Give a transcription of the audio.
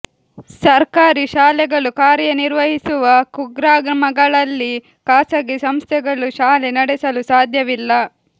ಸರ್ಕಾರಿ ಶಾಲೆಗಳು ಕಾರ್ಯನಿರ್ವಹಿಸುವ ಕುಗ್ರಾಮಗಳಲ್ಲಿ ಖಾಸಗಿ ಸಂಸ್ಥೆಗಳು ಶಾಲೆ ನಡೆಸಲು ಸಾಧ್ಯವಿಲ್ಲ